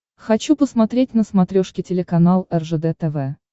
хочу посмотреть на смотрешке телеканал ржд тв